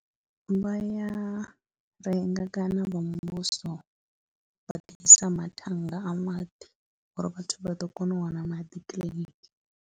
Vha ya renga kana vha muvhuso vha ḓisa matannga a maḓi uri vhathu vha ḓo kona u wana maḓi kiḽiniki.